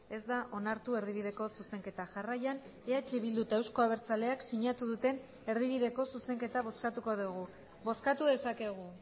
ez da onartu erdibideko zuzenketa jarraian eh bildu eta euzko abertzaleak sinatu duten erdibideko zuzenketa bozkatuko dugu bozkatu dezakegu